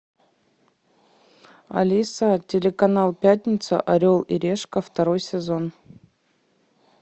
алиса телеканал пятница орел и решка второй сезон